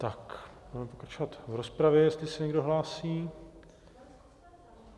Budeme pokračovat v rozpravě, jestli se někdo hlásí.